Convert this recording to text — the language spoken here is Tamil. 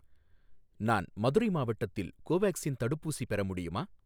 நான் மதுரை மாவட்டத்தில் கோவேக்சின் தடுப்பூசி பெற முடியுமா?